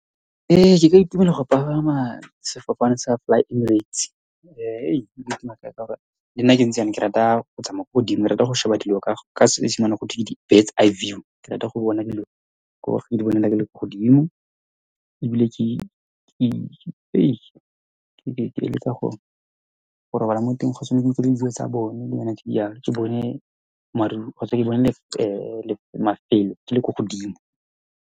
Ee, ke ka itumelela go pagama sefofane sa Fly-Emirates. Le nna ke ntse yana ke rata tsamaya ko godimo, ke rata go sheba dilo ka ka se esimane bare ke di-birds eye view. Ke rata go bona dilo bonela ke le ko godimo, ebile ke ke eletsa go robala mo teng tsa bone, dilonyana tse di yalo. Ke bone maru kgotsa ke bone le mafelo ke le ko godimo.